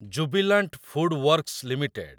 Jubilant FoodWorks limited